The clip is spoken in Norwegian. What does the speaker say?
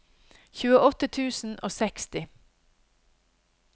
tjueåtte tusen og seksti